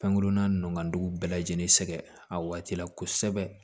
Pɛnkurunna nu ka dugu bɛɛ lajɛlen sɛɛgɛ a waati la kosɛbɛ